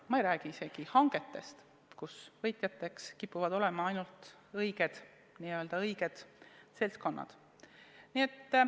Ma ei räägi isegi hangetest, kus võitjateks kipuvad olema ainult n-ö õiged seltskonnad.